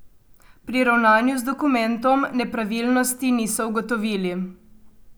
Pri ravnanju z dokumentom nepravilnosti niso ugotovili.